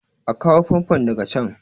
a kawo famfon daga can!